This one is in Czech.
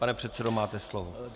Pane předsedo, máte slovo.